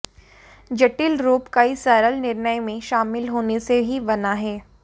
जटिल रूप कई सरल निर्णय में शामिल होने से ही बना है